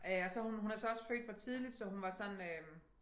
Øh og så hun hun er så også født for tidligt så hun var sådan øh